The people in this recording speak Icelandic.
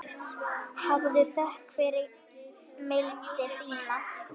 Hafðu þökk fyrir mildi þína.